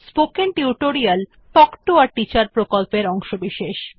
spoken tutorial talk to a teacher প্রকল্পের অংশবিশেষ